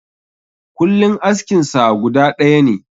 Kullin askin sa guda ɗaya ne.